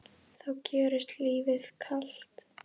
þá gjörist lífið kalt.